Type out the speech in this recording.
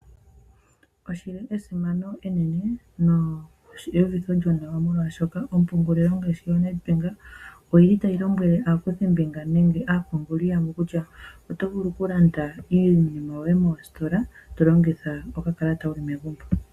Oshili esimano enene neuvitho lyo nawa molwaashoka ompungulilo ngaashi yoNedbank, oyili tayi lombwele aakuthimbinga nenge aapunguli yamwe kutya, oto vulu oku landa iinima yoye mositola tolongitha oka kalata wuli megumbo.